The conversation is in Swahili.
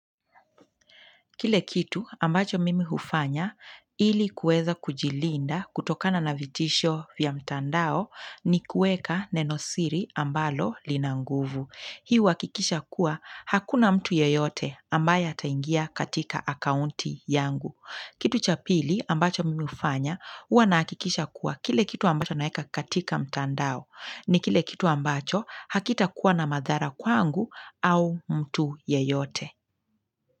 Kile kitu ambacho mimi hufanya ili kuweza kujilinda kutokana na vitisho vya mtandao ni kuweka nenosiri ambalo linanguvu. Hii huwakikisha kuwa hakuna mtu yeyote ambaye ataingia katika akaunti yangu. Kitu cha pili ambacho mimi hufanya huwa na hakikisha kuwa kile kitu ambacho naeka katika mtandao ni kile kitu ambacho hakita kuwa na madhara kwangu au mtu yeyote.